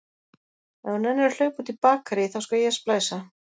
Ef þú nennir að hlaupa út í bakarí, þá skal ég splæsa.